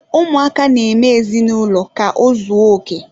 Ụmụaka na-eme ezinụlọ ka ozuoke.